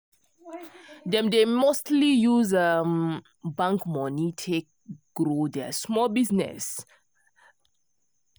them dey mostly use bank money take grow their small business